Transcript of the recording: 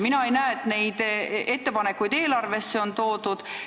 Mina ei näe, et neid ettepanekuid eelarves on arvestatud.